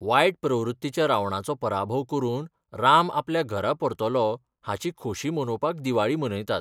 वायट प्रवृत्तीच्या रावणाचो पराभव करून राम आपल्या घरा परतलो हाची खोशी मनोवपाक दिवाळी मनयतात.